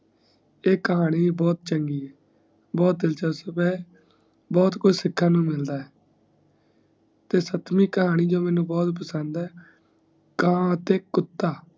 ਈ ਕਹਾਣੀ ਬਹੁਤ ਚੰਗੀ ਹੈ ਬਹੁਤ ਦਿਲਚਸਪ ਹੈ ਬਹੁਤ ਕੁਜ ਸਿੱਖਣ ਨੂੰ ਮਿਲਦਾ ਤੇ ਸੱਤਵੀ ਕਹਾਣੀ ਜੇ ਮੇਨੂ ਬਹੁਤ ਪਸੰਦ ਹੈ ਕਾ ਅਤੇ ਕੁੱਤਾ